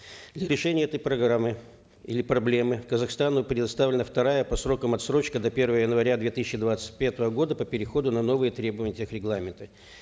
для решения этой программы или проблемы казахстану предоставлена вторая по срокам отсрочка до первого января две тысячи двадцать пятого года по переходу на новые требования тех регламента